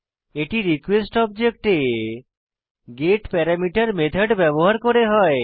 এটি রিকোয়েস্ট অবজেক্টে get parameter method ব্যবহার করে হয়